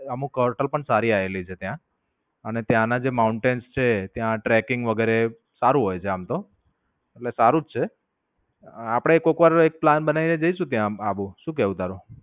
અમુક હોટેલ પણ સારી સારી આયેલી છે ત્યાં. અને ત્યાં ના જે mountains છે ત્યાં tracking વગેરે સારું હોય છે આમ તો. એટલે સારું જ છે. આપણે કોક વાર એક પ્લાન બનાવી ને જઇશું ત્યાં આબુ. શું કેવું તારું?